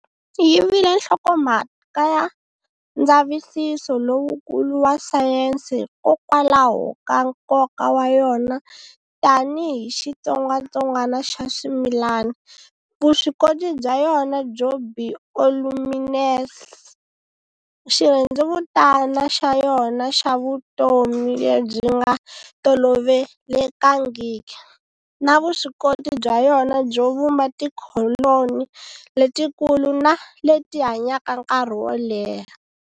Yi vile nhlokomhaka ya ndzavisiso lowukulu wa sayense hikokwalaho ka nkoka wa yona tani hi xitsongwatsongwana xa swimilani, vuswikoti bya yona byo bioluminesce, xirhendzevutani xa yona xa vutomi lebyi nga tolovelekangiki, na vuswikoti bya yona byo vumba tikholoni letikulu na leti hanyaka nkarhi woleha.